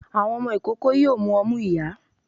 Àwọn ọmọ ikoko yoo mù omú iyá